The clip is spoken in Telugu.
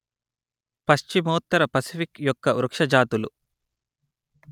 పశ్చిమోత్తర పసిఫిక్ యొక్క వృక్ష జాతులు